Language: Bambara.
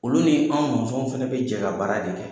Olu ni an fana bɛ jɛ ka baara de kɛ.